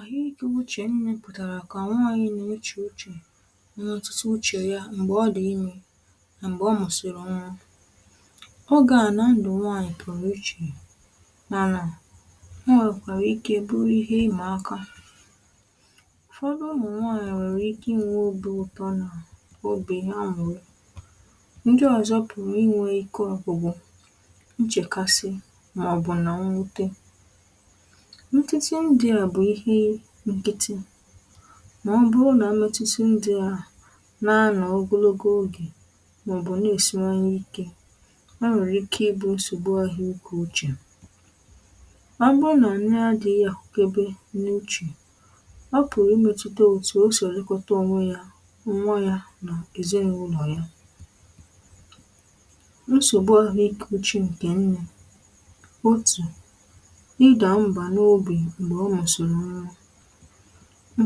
ahụikawuche nne pụtara ka nwaanyị na uche uche ndị ọtụtụ uche ya mgbe ọdị ime na mgbe ọmụsịri nwa oge a na ndụ nwaanyị pụrụ iche n’ana e nwekwara ike bụrụ ihe ima aka ụfọdụ umu nwaanyị nwere ike inwe obi ụtọ na obi amụrụ ndị ọzọ puru inwe ike ọgwụgwụ, nchekasị maọbụ na mwute nkịtị ndi a bu ihe nkiti mà ọ bụrụ nà amẹtiti ndị à na-anọ̀ ogologo ogè mà ọ̀ bụ̀ na-èsiwanye ike ọ nwẹ̀rẹ̀ ike ịbụ̇ nsògbu ahịȧ ike ochè ọ bụrụ nà nni adị̇ghị̇ àhụkebe n’uche ọ pụ̀rụ̀ imẹtuta otù o si elekọta ònwe yȧ mà nwa yȧ nà èzinàụlọ̀ ya nsògbu ahụ̀ ike uchè ǹkè nri otù i ga aba n'ubi mgbe i musiri nwa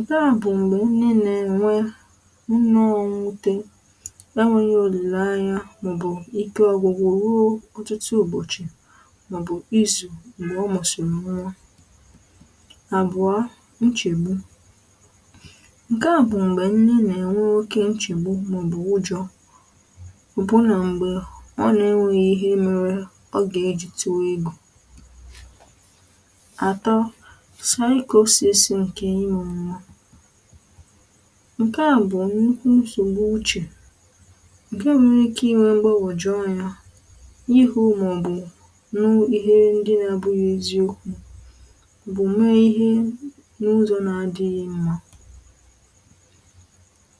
ǹkè a bụ̀ m̀gbè onye nà-enwe nụnụ ọ̇ nwute le nweghi òlìlanya maobu ike ọ̇gwụ̇gwụ̇ ruo ọ̀tụtụ ụ̀bọchị̀ mọ̀bụ̀ izù m̀gbè ọ mụ̀sìrì nwa àbụ̀ọ nchègbu ǹkè a bụ̀ m̀gbè nne nà-enwe oke nchègbu mọ̀bụ̀ ụjọ̇ bụ̀ nà m̀gbè ọ nà-enweghị̇ ihe mere ọ gà-ejì tuwègwu ato ǹkè inwėrė ma ǹkè a bụ̀ nnukwu nsògbu uchè ǹkè nwere ike inwe m̀gbagwọ̀jụ̀ anya ihu̇ màọ̀bụ̀ nu ihe ndị na-abụghị eziokwu maobụ̀ mee ihe n’ụzọ̇ na-adịghị mma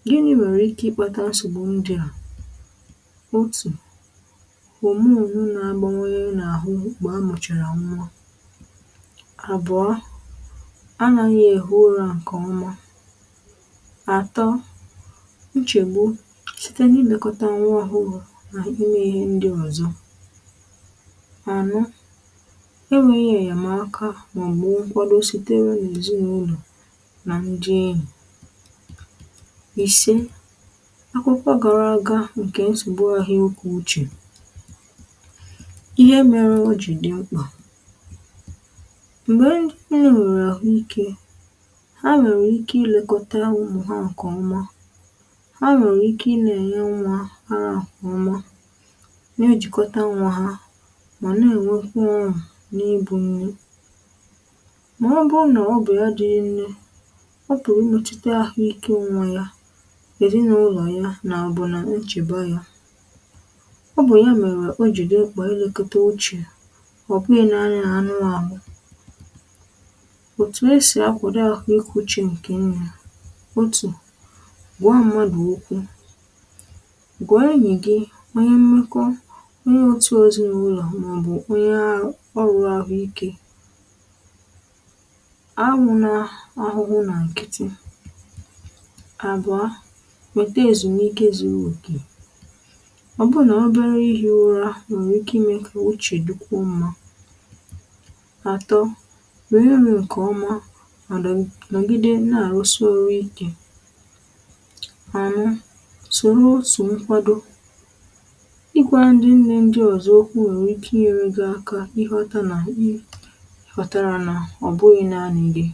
gịnị̇ nwèrè ike ịkpȧtȧ nsọ̀gbụ̀ ndị a otù òmùru n'agbawanye mgbe amuchara nwa abuo anàghi ehi ụrȧ ǹkè ọma àtọ nchègbu site n’ilèkọta nwa ohụru na ime ihe ndị ọ̀zọ àno enweghi nyèm akà màọ̀bụ̀ m̀kwado sitere n’èzinàụlọ̀ nà ndị enyì ìse akwụkwọ gara aga ǹkè nsògbu ahu ike uchè ihe mere ọjì dị mkpà mgbe ha nuru ahu ike ha nwèrè ike ilekọta umu ha nke ọma ha nwèrè ike i na ènye nwa ara nke ọma na-ejìkọta nwa ha mà na-ènwekwa onu n’ibù nne ma ọ bụrụ nà ọ bụ̀ ya nne ọ kara-imetuta ahụike nwa ya èzi nà ụlọ̀ ya nà àbụ̀nà nchèba ya ọ bụ̀ ya mèrè o jì di mkpa elekota ochè ọ̀ bụghị̇ naanị na anụ ahụ̀ ekwuchi ǹkè nri̇ otù gwa mmadụ̀ okwu gwa enyị gị onye mmekọ onye otù ozì nwụrụ màobù onye ọrụ ahụ ikė ahụ̇ na ahụhụ nà ǹkịtị àbụ̀ọ nweta ezumike zuru oke ọ bụrụ nà obere ihi̇ ụra nwèrè ike imė kà uchè dịkwuo mmȧ ato, onye mere nke oma mà ǹogide na àrụsi ọ̀rụ ikė anọ sòrò otù nkwado ịkwȧ ndị ndị ndị ọ̀zọ okwu̇ nwère ike inyere gi aka ị ghọta nà i ghọ̀tàrà nà ọ̀ bụghị̇ naȧnị̇ gi